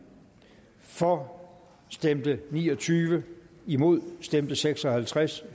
for stemte ni og tyve imod stemte seks og halvtreds